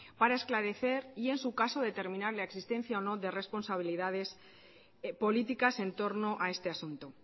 para esclarecer y en su caso determinar la existencia o no de responsabilidades políticas en torno a este asunto